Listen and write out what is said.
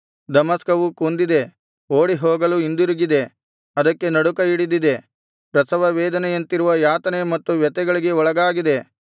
ದಮಸ್ಕವು ಕುಂದಿದೆ ಓಡಿಹೋಗಲು ಹಿಂದಿರುಗಿದೆ ಅದಕ್ಕೆ ನಡುಕ ಹಿಡಿದಿದೆ ಪ್ರಸವವೇದನೆಯಂತಿರುವ ಯಾತನೆ ಮತ್ತು ವ್ಯಥೆಗಳಿಗೆ ಒಳಗಾಗಿದೆ